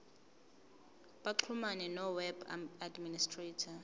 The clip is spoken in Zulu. baxhumane noweb administrator